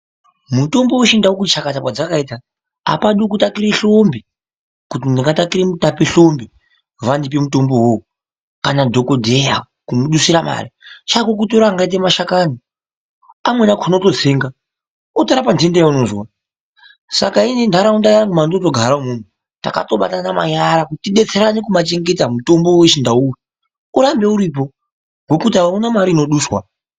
Mitombo wechindau kuti chakata kwadzakaita apadi kutakira hlumbi kuti ndakatakira Mutape hlumbi kuti vandipe mutombo iwowo kana dhokodheya kumudusira mare. Chako kutora angaita mashakani, amweni akhona wototsenga otorapa nhenda yeunozwa. Saka inini nharaunda yangu yandinotogara imwomwo takatobatana manyara kuti tidetserane kubachengeta mutombo wechindau uyu urambe uripo ngekuti auna mare inoduswa.